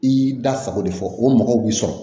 I y'i da sago de fɔ o mɔgɔw b'i sɔrɔ